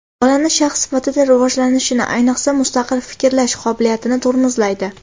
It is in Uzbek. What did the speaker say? Bolani shaxs sifatida rivojlanishini, ayniqsa, mustaqil fikrlash qobiliyatini tormozlaydi.